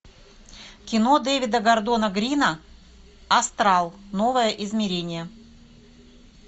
кино дэвида гордона грина астрал новое измерение